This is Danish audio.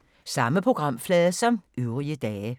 Samme programflade som øvrige dage